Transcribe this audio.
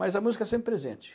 Mas a música é sempre presente.